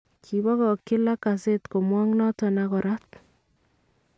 Kibakakyi Lacazette komwook noton ak koraat .